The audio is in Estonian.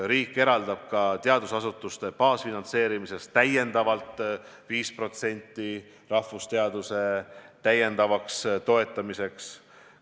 Riik eraldab ka teadusasutuste baasfinantseerimisel täiendavalt 5% rahvusteaduste toetamiseks.